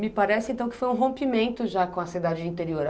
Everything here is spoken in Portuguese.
Me parece, então, que foi um rompimento já com a cidade interior.